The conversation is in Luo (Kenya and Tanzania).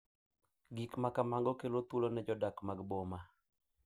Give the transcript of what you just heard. Gik ma kamago kelo thuolo ne jodak mag boma